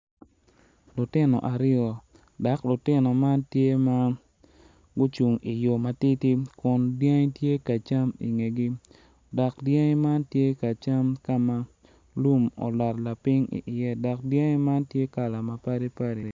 Lutino aryo dok lutino man tye ma gucung i yo matidi kun dyangi tye ka cam i ngegi dok dyangi man tye ka cam ka ma lum olot lapiny iye.